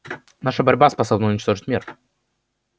наша борьба способна уничтожить мир